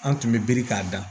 An tun bɛ biri k'a dan